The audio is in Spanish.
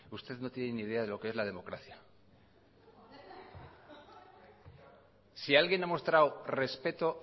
usted no tiene ni idea de lo que es la democracia si alguien ha mostrado respeto